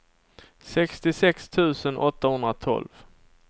sextiosex tusen åttahundratolv